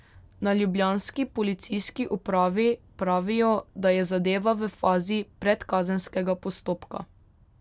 Na ljubljanski policijski upravi pravijo, da je zadeva v fazi predkazenskega postopka.